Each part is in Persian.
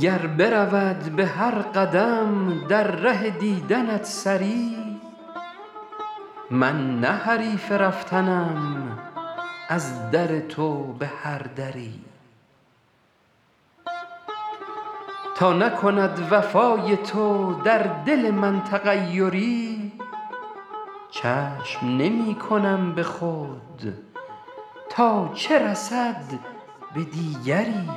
گر برود به هر قدم در ره دیدنت سری من نه حریف رفتنم از در تو به هر دری تا نکند وفای تو در دل من تغیری چشم نمی کنم به خود تا چه رسد به دیگری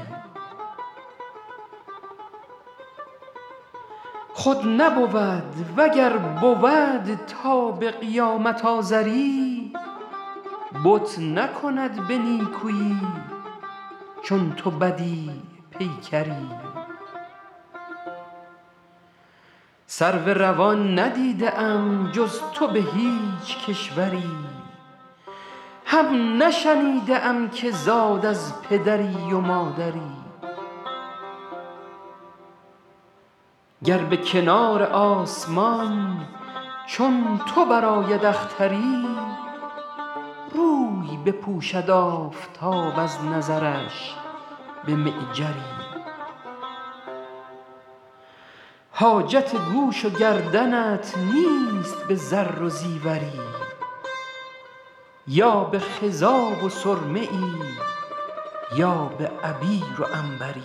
خود نبود و گر بود تا به قیامت آزری بت نکند به نیکویی چون تو بدیع پیکری سرو روان ندیده ام جز تو به هیچ کشوری هم نشنیده ام که زاد از پدری و مادری گر به کنار آسمان چون تو برآید اختری روی بپوشد آفتاب از نظرش به معجری حاجت گوش و گردنت نیست به زر و زیوری یا به خضاب و سرمه ای یا به عبیر و عنبری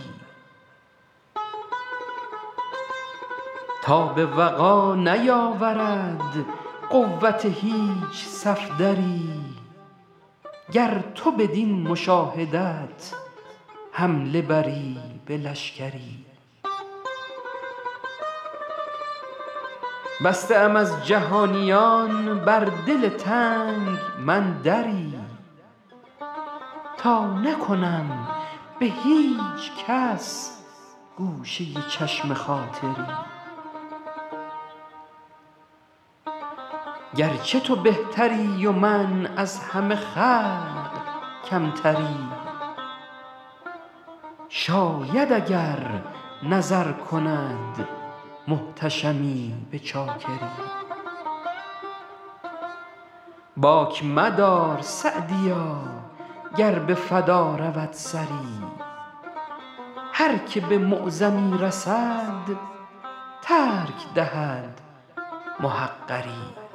تاب وغا نیاورد قوت هیچ صفدری گر تو بدین مشاهدت حمله بری به لشکری بسته ام از جهانیان بر دل تنگ من دری تا نکنم به هیچ کس گوشه چشم خاطری گرچه تو بهتری و من از همه خلق کمتری شاید اگر نظر کند محتشمی به چاکری باک مدار سعدیا گر به فدا رود سری هر که به معظمی رسد ترک دهد محقری